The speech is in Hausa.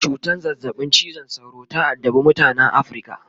cutan zazzabin cizon sauro ta addabe mutanan Africa